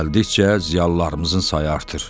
Gəldikcə ziyalılarımızın sayı artır.